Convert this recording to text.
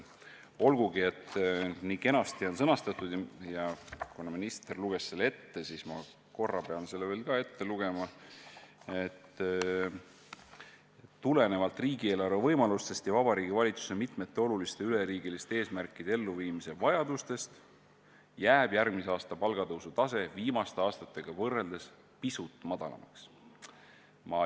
On küll nii kenasti sõnastatud – minister luges selle küll ette, aga ma pean seda veel kordama, et "tulenevalt riigieelarve võimalustest ja Vabariigi Valitsuse mitmete oluliste üleriigiliste eesmärkide elluviimise vajadustest jääb järgmise aasta palgatõusu tase viimaste aastatega võrreldes pisut madalamaks".